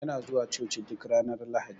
Yana zuwa coci duk Ranar lahadi.